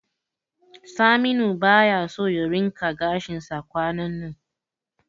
Saminu baya so ya rinqa gashinsa kwanannan.